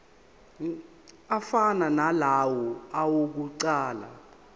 afana nalawo awokuqala